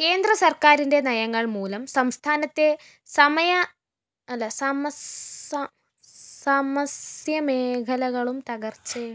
കേന്ദ്ര സര്‍ക്കാരിന്റെ നയങ്ങള്‍ മൂലം സംസ്ഥാനത്തെ സമസ്‌യമേഖലകളും തകര്‍ച്ചയെ